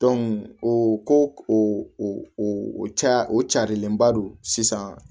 o ko o ca o carilenba don sisan